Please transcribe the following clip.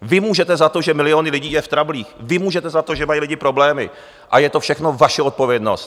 Vy můžete za to, že miliony lidí jsou v trablech, vy můžete za to, že mají lidi problémy, a je to všechno vaše odpovědnost.